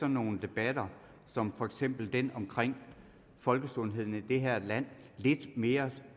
nogle debatter som for eksempel den om folkesundheden i det her land lidt mere